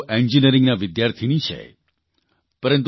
આમ તો તેઓ એન્જીનિયરીંગના વિદ્યાર્થીની છે